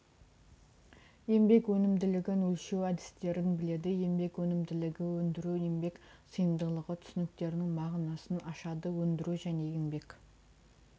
еңбек өнімділігін өлшеу әдістерін біледі еңбек өнімділігі өндіру еңбек сыйымдылығы түсініктерінің мағынасын ашады өндірудің және еңбек